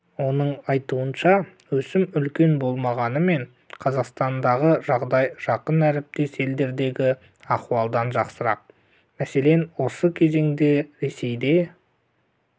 оның айтуынша өсім үлкен болмағанымен қазақстандағы жағдай жақын әріптес елдердегі ахуалдан жақсырақ мәселен осы кезеңде ресейде